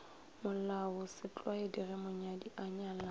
molaosetlwaedi ge monyadi a nyalana